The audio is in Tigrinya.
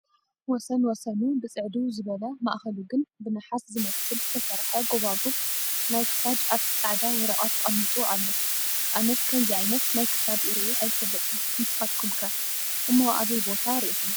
ወሰንወሰኑ ብፅዕድው ዝበለ ማእኸሉ ግን ብናሓስ ዝመስል ዝተሰርሐ ጎባጉብ ናይ ክሳድ ኣብቲ ፃዕዳ ወረቐት ተቐሚጡ ኣሎ፡፡ ኣነስ ከምዚ ዓይነት ናይ ክሳድ ሪኤ ኣይፈልጥን፡፡ ንስኻትኩም ከ ፡ እሞ ኣበይ ቦታ ሪኢኹም?